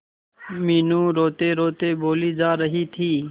मीनू रोतेरोते बोली जा रही थी